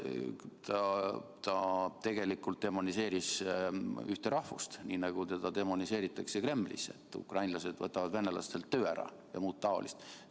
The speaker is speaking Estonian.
Ja ta tegelikult demoniseeris ühte rahvust, nii nagu teda demoniseeritakse Kremlis, et ukrainlased võtavad venelastelt töö ära ja muud taolist.